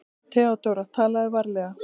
THEODÓRA: Talaðu varlega.